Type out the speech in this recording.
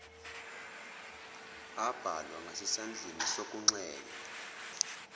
abhalwa ngasesandleni sokunxele